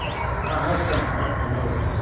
आह चंपा चलो